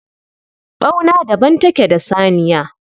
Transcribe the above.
Ɓauna daban take da saniya